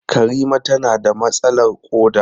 Karima tana da matsalar koda.